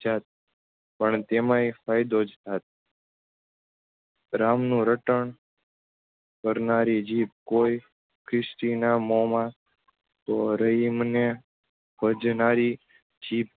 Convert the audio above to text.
જાત પણ તેમાંય ફાયદોજ થાત. રામનું રટણ કરનારી જીભ કોઈ ખરીચિના મોમાં તો રહીમને ભજનારી જીભ